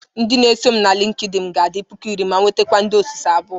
Ndị na-eso m na LịnkedỊnị ga-adị puku iri ma nwetakwuo ndị osuso abụọ.